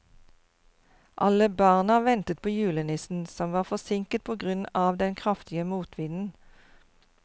Alle barna ventet på julenissen, som var forsinket på grunn av den kraftige motvinden.